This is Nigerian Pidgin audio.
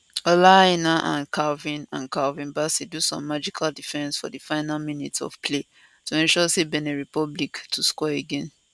ola aina and calvin and calvin bassey do some magical defence for di final minutes of play to ensure say benin republic to score again